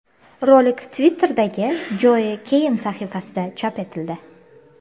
Rolik Twitter’dagi Joe Cain sahifasida chop etildi.